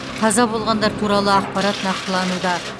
қаза болғандар туралы ақпарат нақтылануда